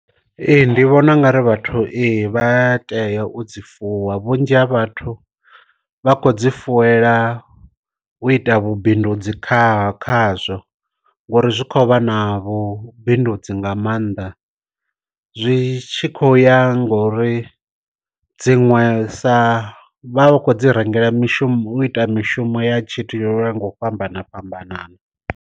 Ee ndi vhona ungari vhathu ee vha tea u dzi fuwa, vhunzhi ha vhathu vha kho dzi fuwela u ita vhu bindudzi kha khazwo ngori zwi khou vha na vhu bindudzi nga maanḓa, zwi tshi khou ya ngori dziṅwe sa vha kho dzi rengela mishumo u ita mishumo ya tshithu yo ya nga u fhambana fhambanana.